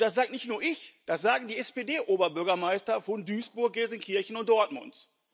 Das sage nicht nur ich, das sagen die SPD Oberbürgermeister von Duisburg, Gelsenkirchen und Dortmund.